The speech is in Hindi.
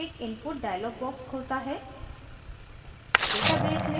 screen पर एक input dialog box खुलता है